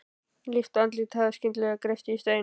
Líkt og andlitið hafi skyndilega greypst í stein.